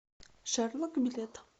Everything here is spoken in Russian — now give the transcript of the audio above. шерлок билет